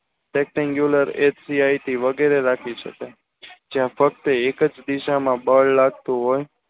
rectengular SBI થી વગેરે રાખી શકાય જ્યાં ફક્ત એક જ દિશામાં બાલ લાગતું હોય